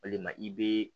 Walima i bee